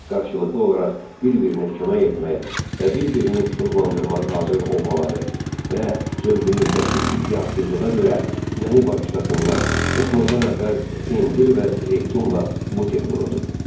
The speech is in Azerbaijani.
Qarşılıqlı olaraq bir-birinə kömək etməyə və bir-birini ruhlandırmağa hazır olmaları və zövqümüzdəki iddiasızlığa görə məni bağışlasınlar, yatmazdan əvvəl pendir və zeytunla buterbrodu.